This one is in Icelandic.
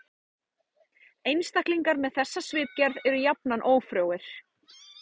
Einstaklingar með þessa svipgerð eru jafnan ófrjóir.